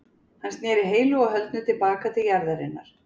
Hann sneri heilu og höldnu til baka til jarðarinnar.